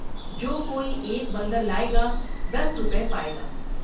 جو کوئی ایک بندر لاۓ گا دس روپے پائے گا ۔